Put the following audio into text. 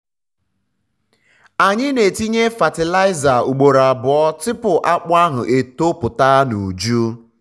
a na-etinye fatịlaịza ugboro abụọ tupu akpu ahụ eto pụta n'uju.